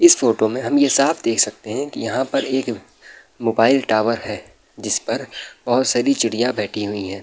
इस में हम ये साफ देख सकते हैं की यहाँ पर एक मोबाइल टॉवर है जिस पर बहोत सारी चिड़ियां बैठी हुई हैं।